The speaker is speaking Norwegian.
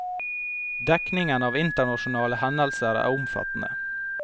Dekningen av internasjonale hendelser er omfattende.